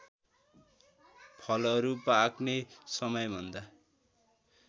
फलहरू पाक्ने समयभन्दा